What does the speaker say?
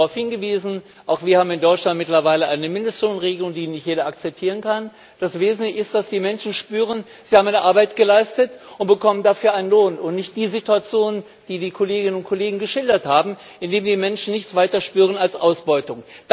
Sie haben darauf hingewiesen Auch wir in Deutschland haben mittlerweile eine Mindestlohnregelung, die nicht jeder akzeptieren kann. Das Wesentliche ist, dass die Menschen spüren, sie haben eine Arbeit geleistet und bekommen dafür einen Lohn, und dass nicht die Situation vorherrscht, die die Kolleginnen und Kollegen geschildert haben, in der die Menschen nichts weiter spüren als Ausbeutung.